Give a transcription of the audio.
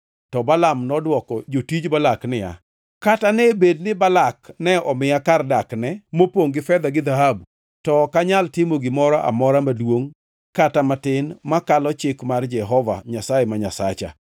To Balaam nodwoko jotij Balak niya, “Kata ne bed ni Balak ne omiya kar dakne mopongʼ gi fedha gi dhahabu, to ok anyal timo gimoro amora maduongʼ kata matin makalo chik mar Jehova Nyasaye ma Nyasacha.